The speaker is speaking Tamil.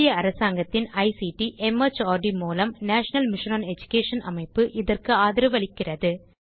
இந்திய அரசாங்கத்தின் ஐசிடி மார்ட் மூலம் நேஷனல் மிஷன் ஒன் எடுகேஷன் அமைப்பு இதற்கு ஆதரவளிக்கிறது